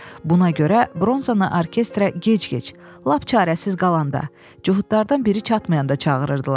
Buna görə bronzanı orkestra gec-gec, lap çarəsiz qalanda, Cuhudlardan biri çatmayanda çağırırdılar.